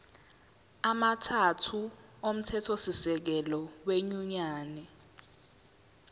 amathathu omthethosisekelo wenyunyane